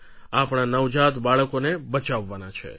આપણા નવજાત બાળકોને બચાવવાનાં છે